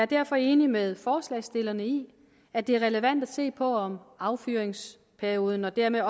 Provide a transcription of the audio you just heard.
derfor enig med forslagsstillerne i at det er relevant at se på om affyringsperioden og dermed